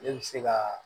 Ne bɛ se ka